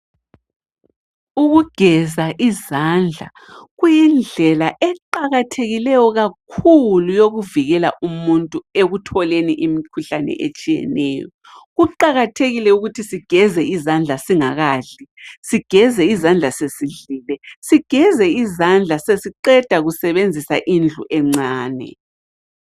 Ukugeza izandla kuyindlela eqakathekileyo kakhulu yokuvikela umuntu ekutholeni imikhuhlane etshiyeneyo. Kuqakathekile ukuthi sigeze izandla singakadli, sigeze izandla sesidlile, sigeze izandla sesiqeda ukusebenzisa indlu encane.